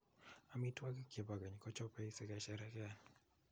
Amitwokik che bo keny kechobei sikesherekean.